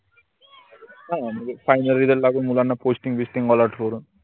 हा म्हनजे final result लागून मुलांना posting बिस्टिंग allot करून